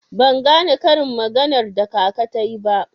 Ban gane karin maganar da kaka tayi ba.